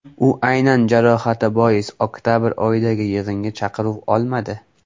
U aynan jarohati bois oktabr oyidagi yig‘inga chaqiruv olmadi.